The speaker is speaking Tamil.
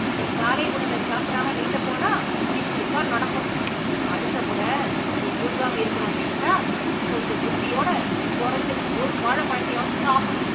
நீ காலை உணவ சாப்பிடாம, நீந்தப் போனா, இப்படித்தான் நடக்கும். அடுத்த மொற, நீ மூழ்காம இருக்கனும்னு நெனச்சா, கொஞ்சம் புத்தியோட, கொறஞ்சது ஒரு வாழைப்பழத்தையாவது சாப்புடு.